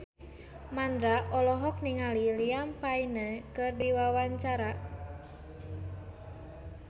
Mandra olohok ningali Liam Payne keur diwawancara